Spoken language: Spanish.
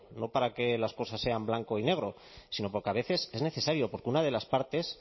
no para que las cosas sean blanco y negro sino porque a veces es necesario porque una de las partes